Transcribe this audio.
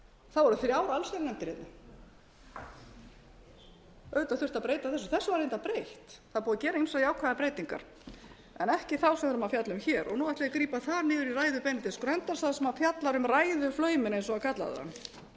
þá voru þrjár allsherjarnefndir hérna auðvitað þurfti að breyta þessu þessu var reyndar breytt það er búið að gera ýmsar jákvæðar breytingar en ekki þá sem við erum að fjalla um hér og nú ætla ég grípa þar niður í ræðu benedikts gröndals þar sem hann fjallaði um ræðuflauminn eins og hann kallaði